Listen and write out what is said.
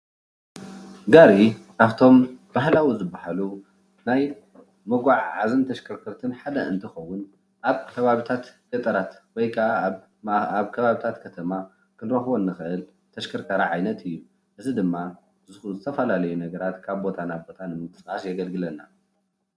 ጋሪ ካብቶም ባህላዊ ዝብሃሉ መጓዓዓዝትን ተሽከርከትን እንትከውን ኣብ ከባቢታት ገጠር ወይ ከዓ ኣብ ከባቢታት ከተማ ክንረክቦ እንክእል ተሽከርካሪ ዓይነት እዩ፡፡ እዚ ድማ ዝተፈላለዩ ነገራት ካብ ቦታ ናብ ቦታ ንምቅስቃስ የገልግለና፡፡